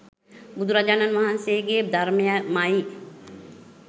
බුදුරජාණන් වහන්සේ ගේ ධර්මය ම යි.